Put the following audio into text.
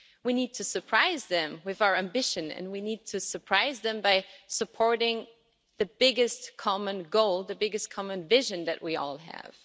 We need to surprise them with our ambition and we need to surprise them by supporting the biggest common goal, the biggest common vision that we all have.